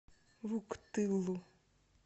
вуктылу